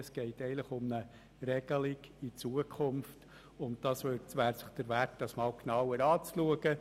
Es geht eigentlich um eine Regelung für die Zukunft, und sie wäre es wert, einmal genauer betrachtet zu werden.